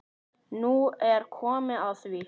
Nú er komið að því.